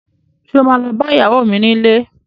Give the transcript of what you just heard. Sọ ma lọ bá ìyàwó mi nílé?